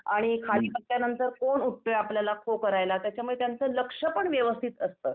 आणि खाली बसल्यानंतर कोण उठतोय आपल्याला खो करायला त्याच्यामुळं त्यांचं लक्ष पण व्यवस्थित असतं.